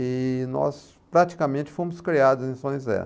E nós praticamente fomos criados em São José.